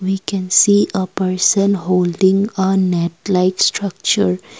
we can see a person holding a net like structure.